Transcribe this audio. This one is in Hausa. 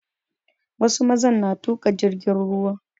Wasu mazan na tuƙa jirgin ruwa